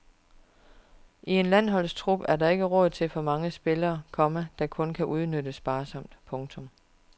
I en landsholdstrup er der ikke råd til for mange spillere, komma der kun kan udnyttes sparsomt. punktum